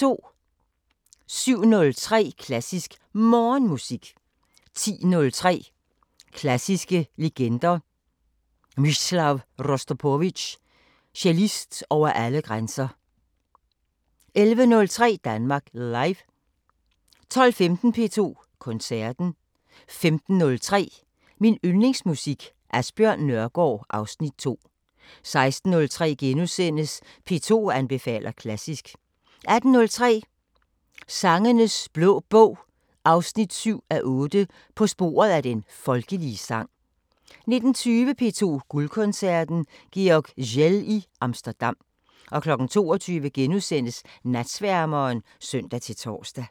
07:03: Klassisk Morgenmusik 10:03: Klassiske legender: Mstislav Rostropovitj – Cellist over alle grænser 11:03: Danmark Live 12:15: P2 Koncerten 15:03: Min Yndlingsmusik: Asbjørn Nørgaard (Afs. 2) 16:03: P2 anbefaler klassisk * 18:03: Sangenes Blå Bog 7:8 – På sporet af den folkelige sang 19:20: P2 Guldkoncerten: Georg Szell i Amsterdam 22:00: Natsværmeren *(søn-tor)